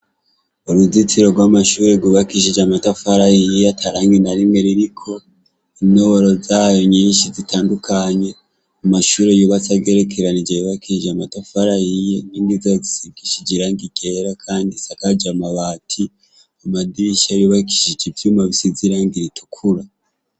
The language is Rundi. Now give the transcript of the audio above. Uruzitiro rwamashure rwubakishije amatafari ahiye atarangi narimwe ariko intoboro zayo nyinshi zitandukanye amashure yubatse agerekeranije yubakishije amatafari ahiye inkingi zisigishije irangi ryera kandi isakaje amabati amadirisha yubakishije ivyuma bisize irangi ritukura